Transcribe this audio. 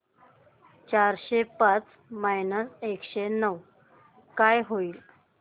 चारशे पाच मायनस एकशे नऊ काय होईल